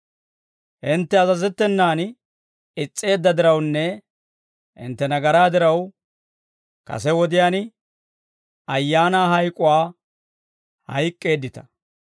Hintte azazettenan is's'eedda dirawunne hintte nagaraa diraw, kase wodiyaan ayaana hayk'uwaa hayk'k'eeddita.